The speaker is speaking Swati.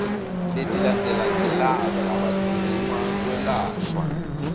letilandzelandzelako labadzinga kwelashwa